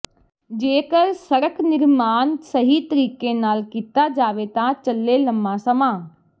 ਜੇਕਰ ਸੜਕ ਨਿਰਮਾਣ ਸਹੀ ਤਰੀਕੇ ਨਾਲ ਕੀਤਾ ਜਾਵੇ ਤਾਂ ਚੱਲੇ ਲੰਮਾ ਸਮਾਂ